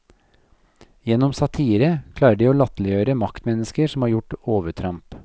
Gjennom satire klarer de å latterliggjøre maktmennesker som har gjort overtramp.